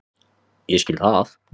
Ég skil það.